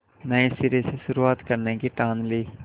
नए सिरे से शुरुआत करने की ठान ली